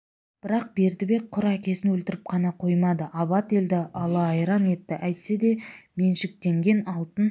бірақ бердібек құр әкесін өлтіріп қана қоймады абат елді ала айран етті әйтсе де меншіктенген алтын